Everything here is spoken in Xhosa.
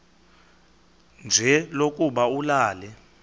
nje lokuba ulale